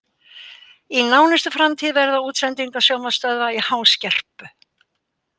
Í nánustu framtíð verða útsendingar sjónvarpsstöðva í háskerpu.